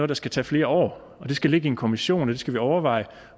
der skal tage flere år det skal ligge i en kommission det skal man overveje